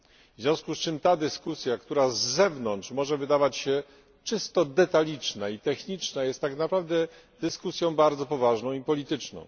W związku z czym ta dyskusja, która z zewnątrz może wydawać się czysto detaliczna i techniczna, jest tak naprawdę dyskusją bardzo poważną i polityczną.